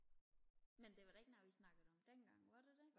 men det var da ikke noget vi snakkede om dengang var det det